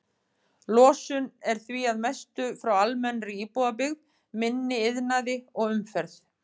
Losun er því að mestu frá almennri íbúabyggð, minni iðnaði og umferð.